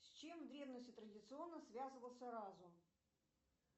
с чем в древности традиционно связывался разум